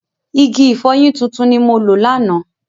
Igi ìfọyín tuntun ni mo lò lánàá.